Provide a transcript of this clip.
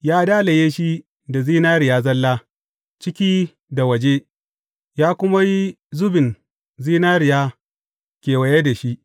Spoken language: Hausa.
Ya dalaye shi da zinariya zalla, ciki da waje, ya kuma yi zubin zinariya kewaye da shi.